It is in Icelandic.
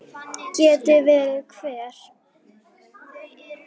Geti verið hver?